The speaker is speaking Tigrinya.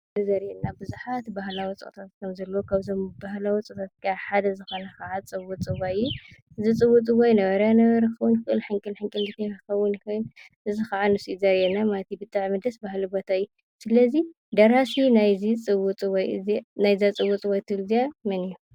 እዚ ምስሊ ዘሪአና ቡዙሓት ባህላዊ ፀወታታት ከምዘለው ካብዞም ባህላዊ ፀወታታት ሓደ ዝኾነ ከዓ ፅውፅዋይ እዩ፡፡ እዚ ፅውፅዋይ ነበረያ ነበረ ክኸውን ይክእል፡፡ ሕንቅል ሕንቅሊተይ ክኸውን ይክእል፡፡ እዚ ከዓ ንሱ እዩ ዘሪአና ማለት እዩ፡፡ ብጣዕሚ ደስ በሃሊ ቦታ እዩ፡፡ ሰለ እዚ ደራሲ ናይ እዛ ፅውፅዋይ ትብል እዚአ መን እዩ?